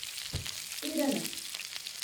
हिरन